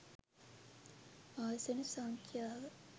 ආසන සංඛ්‍යාව